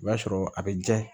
O b'a sɔrɔ a bɛ ja